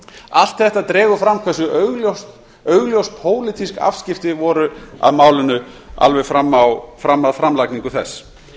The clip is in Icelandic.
allt þetta dregur fram hversu augljós pólitísk afskipti voru af málinu alveg fram að framlagningu þess